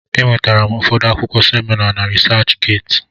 E nwetara m ụfọdụ akwụkwọ semina na Risach Geeti.